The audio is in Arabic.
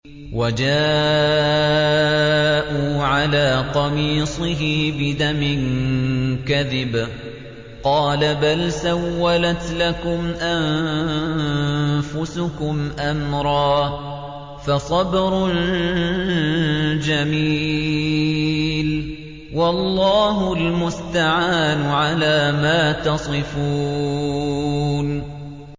وَجَاءُوا عَلَىٰ قَمِيصِهِ بِدَمٍ كَذِبٍ ۚ قَالَ بَلْ سَوَّلَتْ لَكُمْ أَنفُسُكُمْ أَمْرًا ۖ فَصَبْرٌ جَمِيلٌ ۖ وَاللَّهُ الْمُسْتَعَانُ عَلَىٰ مَا تَصِفُونَ